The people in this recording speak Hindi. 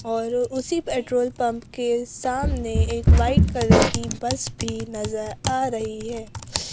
और उसी पेट्रोल पंप के सामने एक वाइट कलर की बस भी नजर आ रही है।